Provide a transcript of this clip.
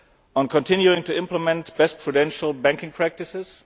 on continuing to implement best prudential banking practices